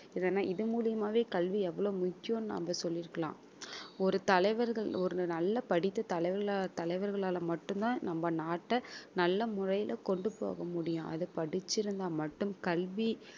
ஏன்னா இது மூலியமாவே கல்வி எவ்வளவு முக்கியம்ன்னு நாம சொல்லி இருக்கலாம் ஒரு தலைவர்கள் ஒரு நல்லா படித்த தலைவர்களா~ தலைவர்களால மட்டும்தான் நம்ம நாட்டை நல்ல முறையில கொண்டு போக முடியும் அது படிச்சிருந்தா மட்டும் கல்வி